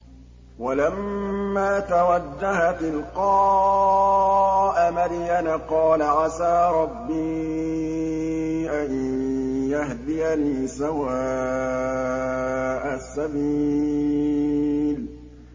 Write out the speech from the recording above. وَلَمَّا تَوَجَّهَ تِلْقَاءَ مَدْيَنَ قَالَ عَسَىٰ رَبِّي أَن يَهْدِيَنِي سَوَاءَ السَّبِيلِ